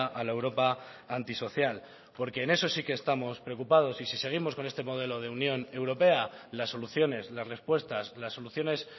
a la europa antisocial porque en eso sí que estamos preocupados y si seguimos con este modelo de unión europea las soluciones las respuestas las soluciones